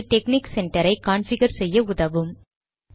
இது டெக்னிக் சென்டரை கான்பிகர் செய்ய உதவும்